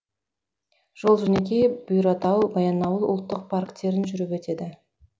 жол жөнекей бұйратау баянауыл ұлттық парктерін жүріп өтеді